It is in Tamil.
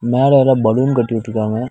மேல எதோ பலூன் கட்டி விட்ருக்காங்க.